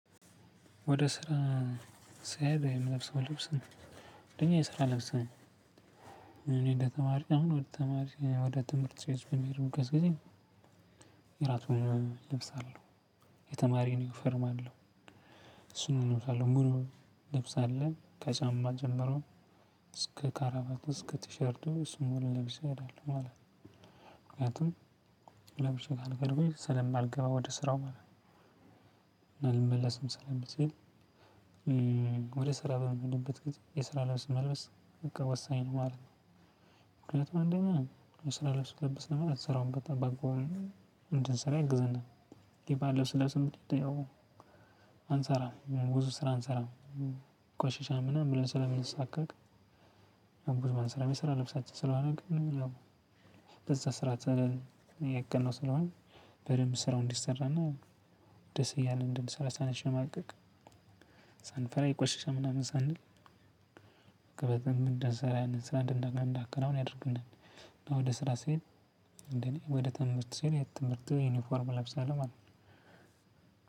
ወደ ስራ ስሄድ የምለብሰው ልብስ አንደኛ የስራ ልብስ ነው። እኔ እንደተማሪ አሁን ወደ ተማሪ ወደ ትምህርት በሚሄዱበት ጊዜ እራቱን እለብሳለሁ። የተማሪ ዩኒፎርም አለው። እሱን እለብሳለው ሙሉውን ልብስ አለን ከጫማ ጀመረው እስከ ካራባት እስከ ቲሸርቱ እሱን ሙሉ ለብሼ እሄዳለው ማለት ነው። ምክንያቱም ለብሼ ሳልቀር ብሄድ ስለማልገባ ወደ ስራው ማለት ነው ልመለስም ስለምችል ወደ ስራ በምሄድበት ጊዜ የስራ ልብስ መልበስ በቃ ወሳኝ ነው ማለት ነው። ምክንያቱም እንደኛ ስራ ልብስ ተለበሰ ማለት ስራውን በጣም በአግባቡ እንድንሰራ ያግዝናል። ባንለብስም ያው አንሰራም ብዙ ስራ አንሰራም ቆሸሸ ምናምን ብለን ስለምንሳቀቅ ስለምንሰራ ልብሳቸው ስለማድረግ ምናምን በዛ ስራ ተነል የቀነው ስለሆነ በደንብ ስራው እንዲሰራና ደስ እያለ እንድል ሰላሳ ነሽ ማለቅ ይቆሽሻል ምናምን ሳንል ከበዛ ምን እንደዛ ስራ እንደነበረ እንዳከናውን ያደርገናል። ወደ ስራ ስሄድ እንደኔ ወደ ትምህርት ስሄድ ትምህርት ዩኒፎርም ለብሳለሁ ማለት ነው።